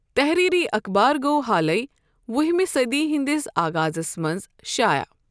تحریٖری اخبار گو حالٕے وُہ ہِمہِ صٔدی ہِنٛدِس آغازس منٛز شایع۔